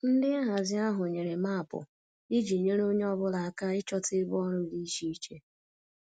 Ndị nhazi ahụ nyere maapụ iji nyere onye ọ bụla aka ịchọta ebe ọrụ dị iche iche